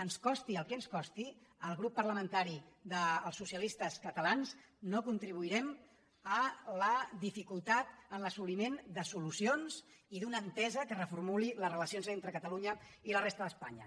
ens costi el que ens costi el grup parlamentari dels socialistes catalans no contribuirem a la dificultat en l’assoliment de solucions i d’una entesa que reformuli les relacions entre catalunya i la resta d’espanya